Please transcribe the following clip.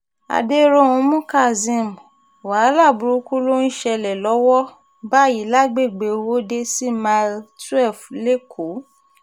aderóhunmú kazeem wàhálà burúkú ló ń ṣẹlẹ̀ lọ́wọ́ báyìí lágbègbè owóde sí mile twelve lẹ́kọ̀ọ́